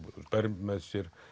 ber með sér